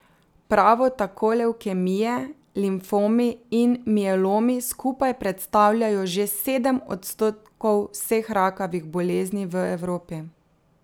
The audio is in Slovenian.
Pravo tako levkemije, limfomi in mielomi skupaj predstavljajo že sedem odstotkov vseh rakavih bolezni v Evropi.